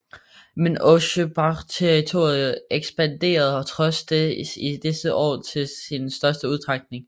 Men ojibwaterritoriet ekspanderede trods det i disse år til sin største udstrækning